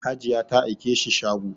Hajiya ta aike shi shago